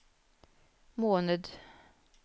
måned